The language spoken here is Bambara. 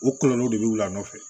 O kɔlɔlɔw de bɛ wuli a nɔfɛ